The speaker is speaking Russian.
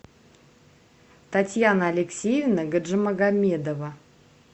татьяна алексеевна гаджимагомедова